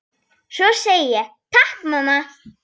Svo ég segi: Takk mamma.